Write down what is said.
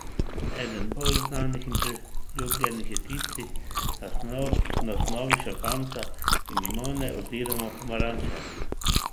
Eden bolj znanih in priljubljenih je tisti na osnovi šampanjca in limone oziroma pomaranče.